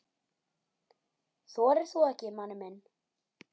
Þorir þú ekki, manni minn?